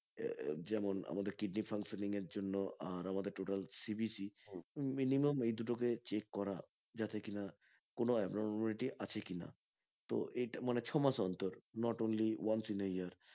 যেমন আমাদের kidney funtioning এর জন্য আর আমাদের total CBC minimum এই দুটোকে check করা যাতে কিনা কোনো abnormality আছে কিনা তো এটা মানে ছ মাস অন্তর not only once in a year